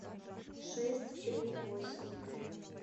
шесть три восемь